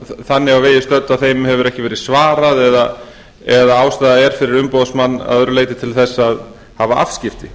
þannig á vegi stödd að þeim hefur ekki verið svarað eða ástæða er fyrir umboðsmann að öðru leyti ekki til að hafa afskipti